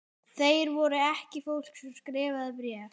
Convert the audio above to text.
Þeir voru ekki fólk sem skrifaði bréf.